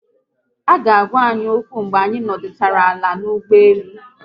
Aga agwa anyi okwu mgbe anyị nọdụchara ala n'ụgbọelu